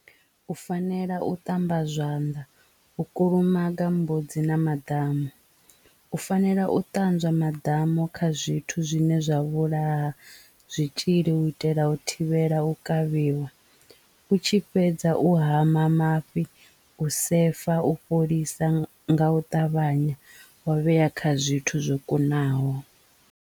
U fanela u ṱamba zwanḓa u kulumaga mbudzi na maḓamu u fanela u ṱanzwa maḓamu kha zwithu zwine zwa vhulaha zwitzhili u itela u thivhela u kavhiwa u tshi fhedza u hama mafhi u sefa u fholisa nga u ṱavhanya wa vhea kha zwithu zwo kunaho.